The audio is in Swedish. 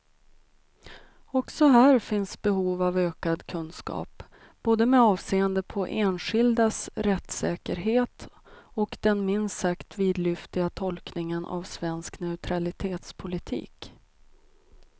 Också här finns behov av ökad kunskap, både med avseende på enskildas rättssäkerhet och den minst sagt vidlyftiga tolkningen av svensk neutralitetspolitik.